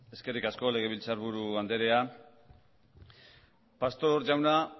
eskerrik asko legebiltzarburu andrea pastor jauna